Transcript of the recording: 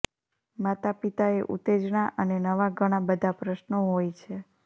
માતાપિતાએ ઉત્તેજના અને નવા ઘણાં બધા પ્રશ્નો હોય છે